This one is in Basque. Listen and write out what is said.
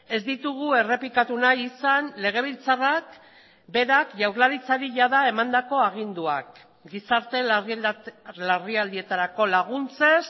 ez ditugu errepikatu nahi izan legebiltzarrak berak jaurlaritzari jada emandako aginduak gizarte larrialdietarako laguntzez